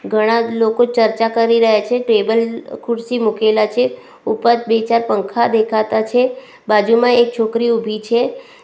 ઘણા જ લોકો ચર્ચા કરી રહ્યા છે ટેબલ ખુરશી મુકેલા છે ઉપર બે ચાર પંખા દેખાતા છે બાજુમાં એક છોકરી ઉભી છે.